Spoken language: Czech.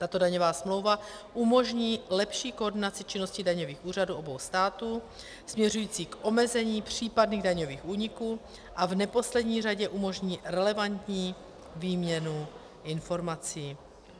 Tato daňová smlouva umožní lepší koordinaci činnosti daňových úřadů obou států směřující k omezení případných daňových úniků a v neposlední řadě umožní relevantní výměnu informací.